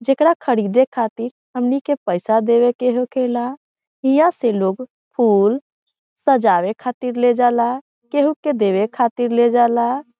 जेकरा ख़रीदे खातिर हमनी के पैसा देवे के होखेला हिया से लोग फूल सजावे खातिर ले जाला केहू के देवे खातिर ले जाला।